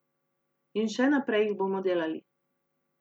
In še naprej jih bomo delali.